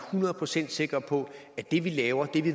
hundrede procent sikre på at det vi laver og